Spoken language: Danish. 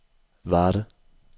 Varde